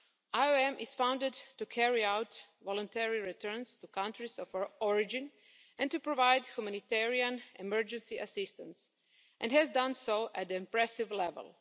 IOM is funded to carry out voluntary returns to countries of origin and to provide humanitarian emergency assistance and has done so at an impressive level.